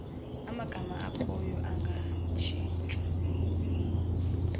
amagama akhoyo angatshintshwa